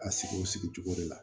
A sigi o sigi cogo de la